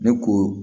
Ne ko